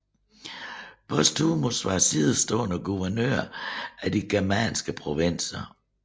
Postumus var sidestående guvernør af de germanske provinser